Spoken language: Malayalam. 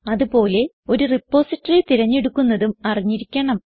അത് പോലെ ഒരു റിപ്പോസിറ്ററി തിരഞ്ഞെടുക്കുന്നതും അറിഞ്ഞിരിക്കണം